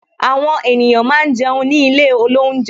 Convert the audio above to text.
Àwọn ènìyàn máa ń jẹun ní ilé olounje